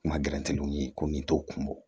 Kuma gɛlɛntɛliw ye ko min t'o kun bɔ